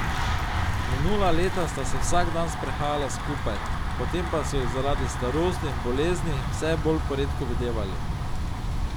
Minula leta sta se vsak dan sprehajala skupaj, potem pa so ju zaradi starosti in bolezni vse bolj poredko videvali.